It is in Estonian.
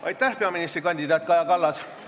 Aitäh, peaministrikandidaat Kaja Kallas!